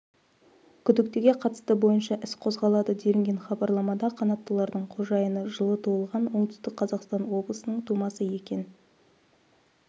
күдіктіге қатысты бойынша іс қозғалады делінген хабарламада қанаттылардың қожайыны жылы туылған оңтүстік қазақстан облысының тумасы екен